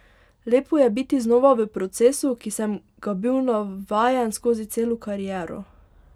Lepo je biti znova v procesu, ki sem ga bil navajen skozi celo kariero.